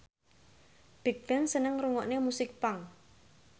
Bigbang seneng ngrungokne musik punk